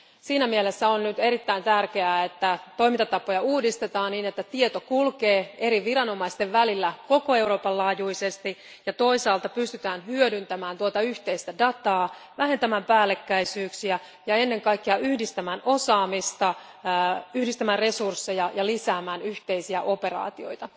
Siinä mielessä on nyt erittäin tärkeää, että toimintatapoja uudistetaan niin, että tieto kulkee eri viranomaisten välillä koko Euroopan laajuisesti, ja toisaalta pystytään hyödyntämään yhteistä dataa, vähentämään päällekkäisyyksiä ja ennen kaikkea yhdistämään osaamista, yhdistämään resursseja ja lisäämään yhteisiä operaatioita.